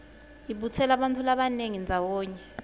ibutsela bantfu labanyenti ndzawonye